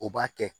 O b'a kɛ